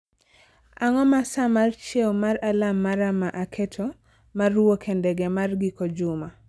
Ang'o ma saa mar chieo mar alarm mara ma aketo mar wuok e ndege mar giko juma